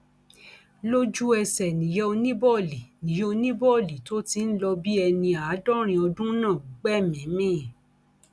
lójú ẹsẹ níyà oníbòòlì níyà oníbòòlì tó ti ń lọ bíi ẹni àádọrin ọdún náà gbẹmíín mi